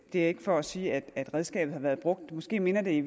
det er ikke for at sige at redskabet har været brugt måske minder det i